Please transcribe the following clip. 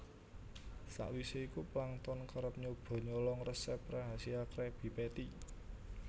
Sawise iku Plankton kerep nyoba nyolong resep rahasia Krabby Patty